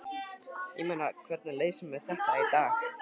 Ég meina, hvernig leysum við þetta í dag?